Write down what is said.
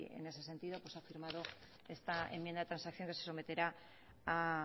en ese sentido pues ha firmado esta enmienda de transacción que se someterá a